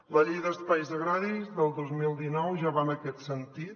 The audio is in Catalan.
la llei d’espais agraris del dos mil dinou ja va en aquest sentit